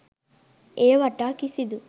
එය වටා කිසිදු